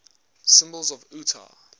symbols of utah